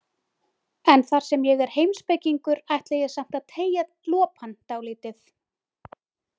En þar sem ég er heimspekingur ætla ég samt að teygja lopann dálítið.